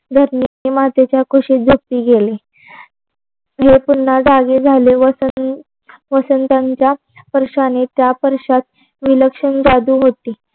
धरणी मातेच्या कुशीत झोपी गेले. ही पुननहा जागी झाले व वसंत वसंतांच्या परशाने त्या परशात विलक्षण जागी होती.